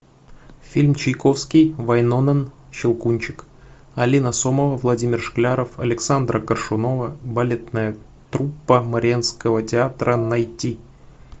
фильм чайковский вайнонен щелкунчик алина сомова владимир шкляров александра коршунова балетная труппа мариинского театра найти